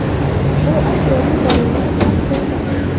U ashyoviy dalillar bilan qo‘lga olingan.